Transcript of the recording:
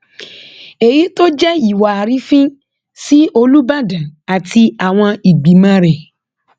èyí tó jẹ ìwà àrífín sí olùbàdàn àti àwọn ìgbìmọ rẹ